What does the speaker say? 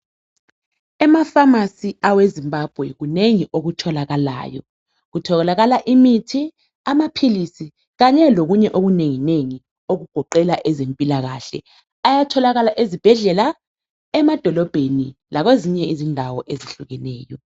Ema "pharmacy " awe Zimbabwe kunengi okutholakalayo kutholakala imithi amaphilisi kanye lokunye okunenginengi okugoqela ezempilakahle ayatholakala ezibhedlela, emadolobheni lakwezinye izindawo ezihlukeneyo .